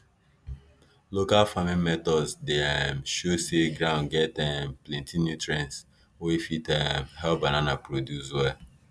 local farming methods dey um show say ground get um plenty nutrients wey wey fit um help banana produce well